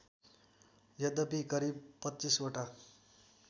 यद्यपि करिब २५ वटा